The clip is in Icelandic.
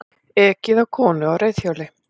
Ekið á konu á reiðhjóli